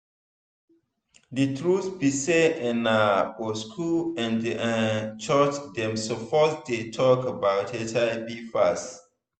the truth be say ehna for school and and church dem suppose dey talk about hiv pass.